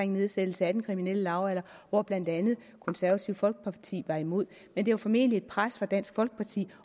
nedsættelsen af den kriminelle lavalder hvor blandt andet det konservative folkeparti var imod men det var formentlig et pres fra dansk folkeparti